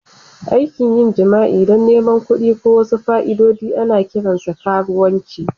Aikin yin jima'i don neman kuɗi ko wasu fa'idodi ana kiransa karuwanci.